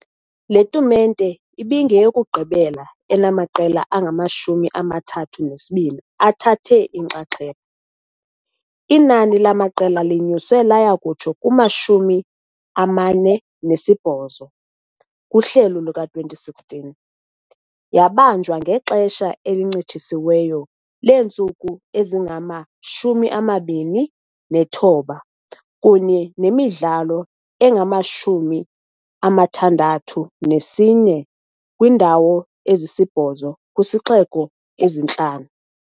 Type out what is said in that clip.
Le tumente ibingeyokugqibela enamaqela angama-32 athathe inxaxheba, inani lamaqela linyuswe laya kutsho kuma-48 kuhlelo luka-2016 . Yabanjwa ngexesha elincitshisiweyo leentsuku ezingama-29 kunye nemidlalo engama-64 kwiindawo ezisibhozo kwizixeko ezintlanu.